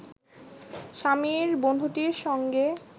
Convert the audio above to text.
স্বামীর বন্ধুটির সঙ্গে